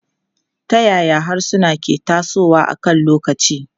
Ta yaya harsuna ke tasowa akan lokaci?